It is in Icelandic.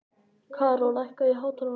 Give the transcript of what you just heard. Karó, lækkaðu í hátalaranum.